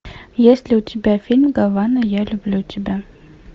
есть ли у тебя фильм гавана я люблю тебя